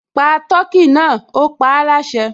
Pa tọkí náà, ó paáláṣẹ